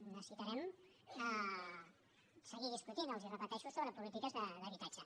necessitarem seguir discutint els ho repeteixo sobre polítiques d’habitatge